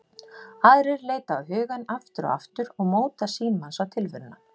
Aðrar leita á hugann aftur og aftur og móta sýn manns á tilveruna.